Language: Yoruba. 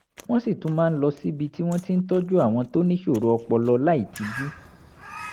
wọ́n sì tún máa ń lọ síbi tí wọ́n ti ń tọ́jú àwọn tó níṣòro ọpọlọ láìtijú